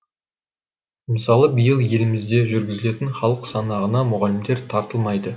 мысалы биыл елімізде жүргізілетін халық санағына мұғалімдер тартылмайды